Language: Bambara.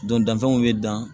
Don danfɛnw bɛ dan